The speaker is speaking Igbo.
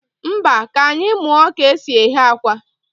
Mba, ka anyị muọ ka e si eghe akwa.